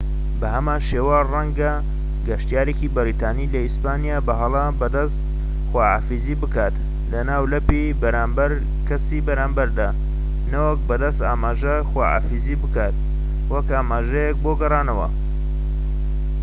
بە هەمان شێوە، ڕەنگە گەشتیارێکی بەریتانی لە ئیسپانیا بە هەڵە بە دەست خواحافیزی بکات کە ناولەپی بەرامبەر کەسی بەرامبەر بێت نەوەک بە دەست ئاماژەی خواحافیزی بکەیت وەک ئاماژەیەک بۆ گەڕانەوە